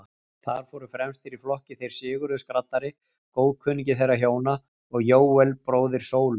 Þar fóru fremstir í flokki þeir Sigurður skraddari, góðkunningi þeirra hjóna, og Jóel, bróðir Sólu.